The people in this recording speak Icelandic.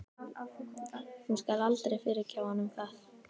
Hún skal aldrei fyrirgefa honum það.